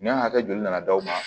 Minɛn hakɛ joli nana d'aw ma